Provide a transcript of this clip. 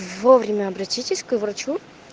вовремя обратитесь к врачу